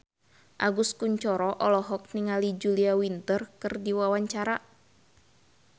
Agus Kuncoro olohok ningali Julia Winter keur diwawancara